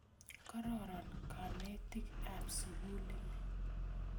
Kororon kanetik ap sukuli ni